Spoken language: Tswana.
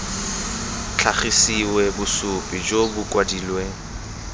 tlhagisiwe bosupi jo bo kwadilweng